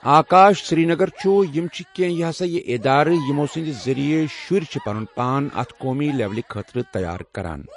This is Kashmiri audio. آکاش سرینگر چھُ یِم چھِ کینٛہہ یہ ہسا یہِ اِدارٕ یِمو سٕنٛدۍ ذٔریعہِ شُرۍ چھِ پنُن پان اتھ قومی لیٚولہِ خٲطرٕ تیار کران